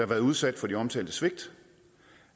været udsat for de omtalte svigt